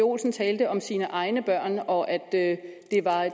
olsen talte om sine egne børn og at at